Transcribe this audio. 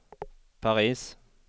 Paris